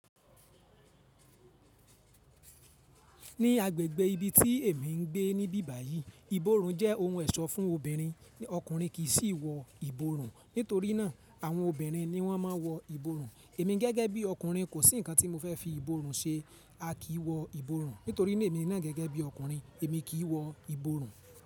Ní agbègbè ibi tí èmi ń gbé ní bíbàyí, ìborùn jẹ́ ohun ẹ̀ṣọ́ fún obìnrin, ọkùnrin kì í sí wọ ìborùn. Nítorí náà, àwọn obìnrin ni wọ́n máa ń wọ ìborùn. Èmi gẹ́gẹ́ bí ọkùnrin kò sí ǹkan tí mo fẹ́ fi ìborùn ṣe. A kì í wọ ìborùn, nítorí náà èmi ní gẹ́gẹ́ bí ọkùnrin, èmi kì í wọ ìborùn.